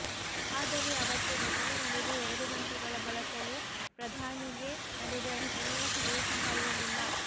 ಆದರೆ ಅವತ್ತು ಘಟನೆ ನಡೆದು ಎರಡು ಗಂಟೆಗಳ ಬಳಕವೂ ಪ್ರಧಾನಿಗೆ ನಡೆದ ಘಟನೆಯ ಸುಳಿವು ಸಹ ಇರಲಿಲ್ಲ